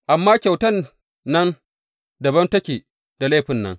Amma kyautan nan dabam take da laifin nan.